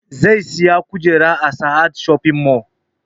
Zai saya kujera a sahad shoping mall